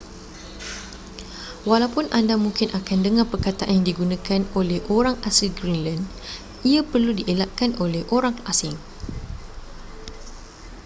walaupun anda mungkin akan dengar perkataan yang digunakan oleh orang asli greenland ia perlu dielakkan oleh orang asing